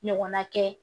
Ɲɔgɔnna kɛ